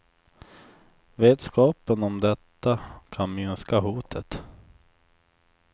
Vetskapen om detta kan minska hotet.